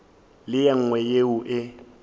le ye nngwe yeo e